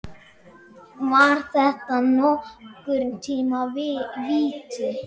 Var þetta nokkurn tíma víti?